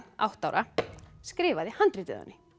átta ára skrifaði handritið